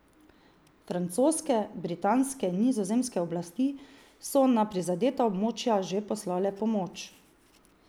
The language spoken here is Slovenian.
Francoske, britanske in nizozemske oblasti so na prizadeta območja že poslale pomoč.